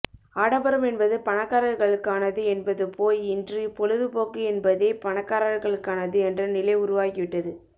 ஆடம்பரம் என்பது பணக்காரர்களுக்கானது என்பது போய் இன்று பொழுது போக்கு என்பதே பணக்காரர்களுக்கானது என்ற நிலை உருவாகிவிட்டது